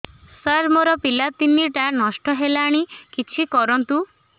ସାର ମୋର ପିଲା ତିନିଟା ନଷ୍ଟ ହେଲାଣି କିଛି କରନ୍ତୁ